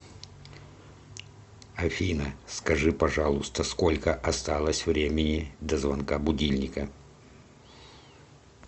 афина скажи пожалуйста сколько осталось времени до звонка будильника